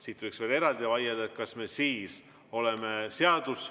Siin võiks veel eraldi vaielda, kas me siis oleme seaduse järgi käitunud või mitte.